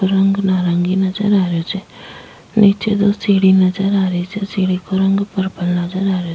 रंग नारंगी नजर आ रहियो छे नीचे दो सीढ़ी नजर आ रही छे सीढ़ी को रंग पर्पल नजर आ रहियो --